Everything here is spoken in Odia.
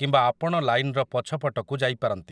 କିମ୍ବା ଆପଣ ଲାଇନର ପଛ ପଟକୁ ଯାଇପାରନ୍ତି ।